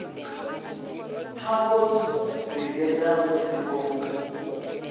pfa vho ḓigeḓa musi vho